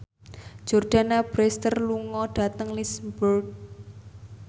Jordana Brewster lunga dhateng Lisburn